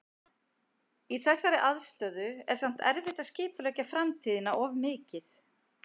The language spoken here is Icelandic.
Í þessari aðstöðu er samt erfitt að skipuleggja framtíðina of mikið.